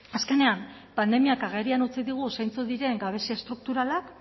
azkenean pandemiak agerian utzi digu zeintzuk diren gabezia estrukturalak